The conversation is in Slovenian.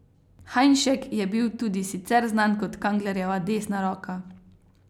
Hajnšek je bil tudi sicer znan kot Kanglerjeva desna roka.